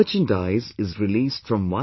'International Yoga Day' is arriving soon